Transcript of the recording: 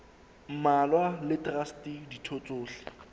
mmalwa le traste ditho tsohle